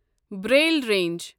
Braille range